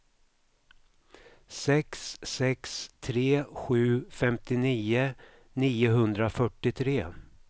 sex sex tre sju femtionio niohundrafyrtiotre